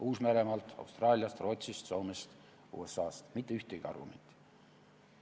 Uus-Meremaalt, Austraaliast, Rootsist, Soomest, USA-st – mitte ühtegi argumenti.